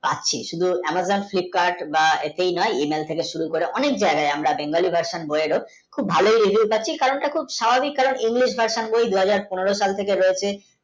পাচ্ছি শুধুই Amazon Flipkart বা সেই নয় email শুরু করে অনেক জায়গায় বেঙ্গলি ভাষায় হয়েছে খুব ভালো হয়েছে তা ঠিক ঠিক তা কারণটা স্বাভাবিক কারণ English ভাষা দূহজার পনেরো saal থেকে রয়েছে